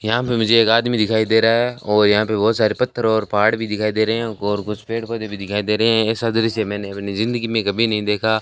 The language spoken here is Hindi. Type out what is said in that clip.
यहां पे मुझे एक आदमी दिखाई दे रहा है और यहां पर बहोत सारे पत्थर और पहाड़ भी दिखाई दे रहे और कुछ पेड़ पौधे भी दिखाई दे रहे हैं ऐसा दृश्य मैंने अपनी जिंदगी में कभी नहीं देखा --